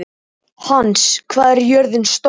Hans, hvað er jörðin stór?